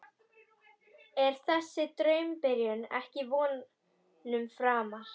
Er þessi draumabyrjun ekki vonum framar?